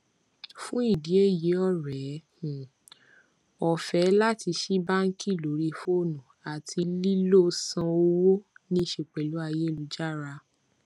fún ìdí èyí ore um ọfẹ láti sí báńkì lórí fóònù àti lílo sàn owó ni ṣe pẹlú ayélujára